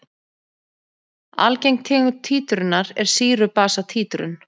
Algeng tegund títrunar er sýru-basa títrun.